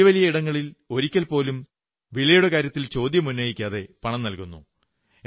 നാം വലിയ വലിയ ഇടങ്ങളിൽ ഒരിക്കൽപോലും വിലയുടെ കാര്യത്തിൽ ചോദ്യമുന്നയിക്കാതെ പണം നല്കുന്നു